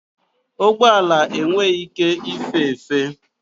Ụgbọ ala enweghị ike ife efe.